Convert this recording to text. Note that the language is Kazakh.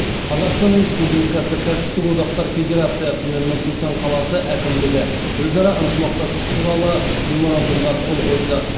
қазақстан республикасы кәсіптік одақтар федерациясы мен нұр сұлтан қаласы әкімдігі өзара ынтымақтастық туралы меморандумға қол қойды